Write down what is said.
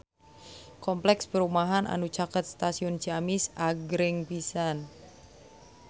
Kompleks perumahan anu caket Stasiun Ciamis agreng pisan